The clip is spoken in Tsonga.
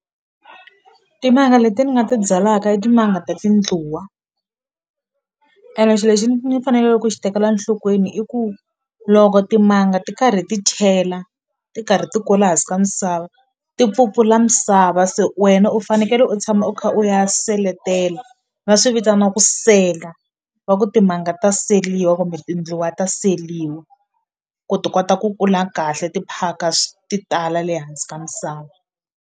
Timanga leti ni nga ti byalaka i timanga ta tindluwa ene xilo lexi ni faneleke ku xi tekela nhlokweni i ku loko timanga ti karhi ti chela ti karhi ti kula hansi ka misava misava se wena u fanekele u tshama u kha u ya seletela va swi vitana ku sela wa ku timanga to seliwa kumbe tindluwa ta seliwa ku ti kota ku kula kahle ti phaka ti tala le hansi ka misava.